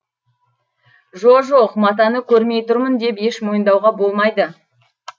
жо жоқ матаны көрмей тұрмын деп еш мойындауға болмайды